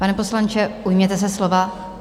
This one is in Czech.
Pane poslanče, ujměte se slova.